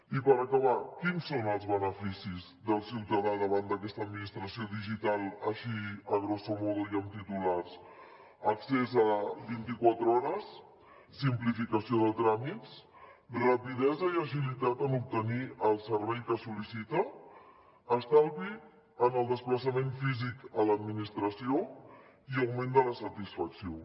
i per acabar quins són els beneficis del ciutadà davant d’aquesta administració digital així grosso modo i amb titulars accés vint i quatre hores simplificació de tràmits rapidesa i agilitat en obtenir el servei que es sol·licita estalvi en el desplaçament físic a l’administració i augment de la satisfacció